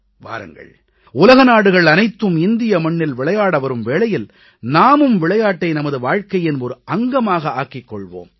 வாருங்கள் உலக நாடுகள் அனைத்தும் இந்திய மண்ணில் விளையாட வரும் வேளையில் நாமும் விளையாட்டை நமது வாழ்க்கையின் ஒரு அங்கமாக ஆக்கிக் கொள்வோம்